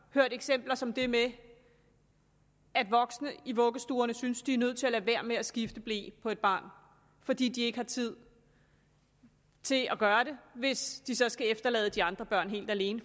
hørt eksempler som det med at voksne i vuggestuerne synes de er nødt til at lade være med at skifte ble på et barn fordi de ikke har tid til at gøre det hvis de så skal efterlade de andre børn helt alene